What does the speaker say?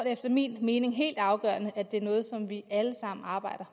efter min mening helt afgørende at det er noget som vi alle sammen arbejder